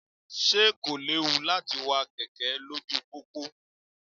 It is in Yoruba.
Ṣé kò léwu láti wa kẹ̀kẹ́ lójú pópó?